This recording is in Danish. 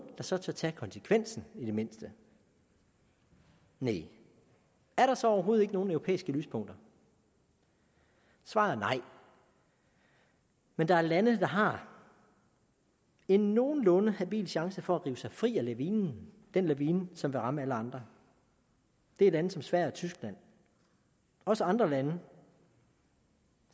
der så tør tage konsekvensen i det mindste næh er der så overhovedet ikke nogen europæiske lyspunkter svaret er nej men der er lande der har en nogenlunde habil chance for at rive sig fri af lavinen den lavine som vil ramme alle andre det er lande som sverige og tyskland også andre lande